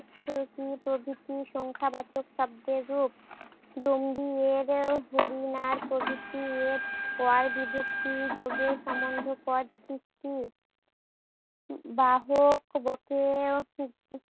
থেকি প্রভৃতি সংখ্যাবাচক শব্দে যোগ। ডঙ্গি এর হরিণার প্রভৃতি বিভক্তি যোগে সম্বন্ধ পদ সৃষ্টি। বাহক